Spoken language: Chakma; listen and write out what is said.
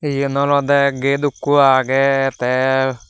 yan olode gate ukko agey te.